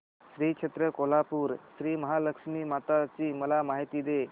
श्री क्षेत्र कोल्हापूर श्रीमहालक्ष्मी माता ची मला माहिती दे